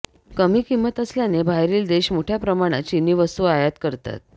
कमी किंमत असल्याने बाहेरील देश मोठ्या प्रमाणात चिनी वस्तू आयात करतात